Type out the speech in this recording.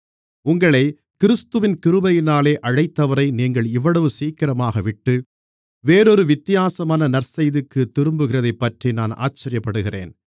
உங்களைக் கிறிஸ்துவின் கிருபையினாலே அழைத்தவரை நீங்கள் இவ்வளவு சீக்கிரமாகவிட்டு வேறொரு வித்தியாசமான நற்செய்திக்குத் திரும்புகிறதைப்பற்றி நான் ஆச்சரியப்படுகிறேன்